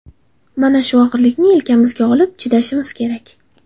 Mana shu og‘irlikni yelkamizga olib, chidashimiz kerak.